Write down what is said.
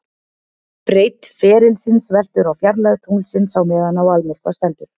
Breidd ferilsins veltur á fjarlægð tunglsins á meðan á almyrkva stendur.